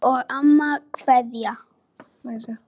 Afi og amma kveðja